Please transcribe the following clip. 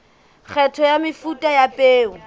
kgetho ya mefuta ya peo